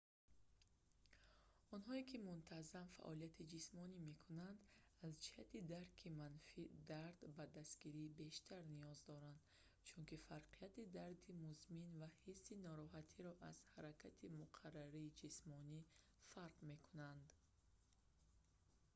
онҳое ки мунтаззам фаъолияти ҷисмонӣ мекунанд аз ҷиҳати дарки манфии дард ба дастгирии бештар ниёз доранд чунки фарқияти дарди музмин ва ҳисси нороҳатиро аз ҳаракати муқаррарии ҷисмонӣ фарқ мекунанд